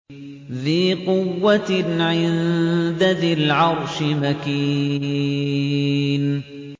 ذِي قُوَّةٍ عِندَ ذِي الْعَرْشِ مَكِينٍ